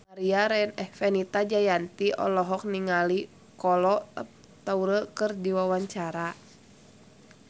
Fenita Jayanti olohok ningali Kolo Taure keur diwawancara